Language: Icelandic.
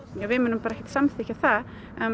við munum ekkert samþykkja það